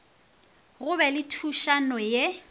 go be le thušano ye